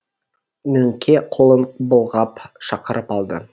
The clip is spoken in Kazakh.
мөңке қолын былғап шақырып алды